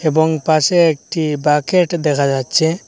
এবং পাশে একটি বাকেট দেখা যাচ্ছে।